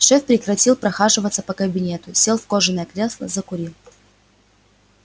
шеф прекратил прохаживаться по кабинету сел в кожаное кресло закурил